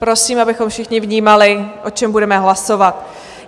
Prosím, abychom všichni vnímali, o čem budeme hlasovat.